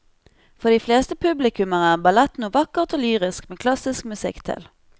For de fleste publikummere er ballett noe vakkert og lyrisk med klassisk musikk til.